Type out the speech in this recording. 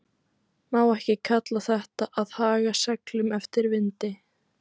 Má ekki kalla þetta að haga seglum eftir vindi?